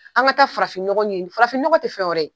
An ka taa farafin nɔgɔn ɲini, farafi nɔgɔ tɛ fɛn wɛrɛ ye.